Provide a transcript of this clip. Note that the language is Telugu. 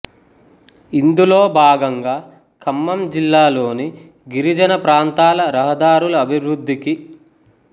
ఇందులో భాగంగా ఖమ్మం జిల్లాలోని గిరిజన ప్రాంతాల రహదారుల అభివృద్ధికి రూ